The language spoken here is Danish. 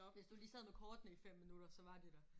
Hvis du lige sad med kortene i 5 minutter så var de der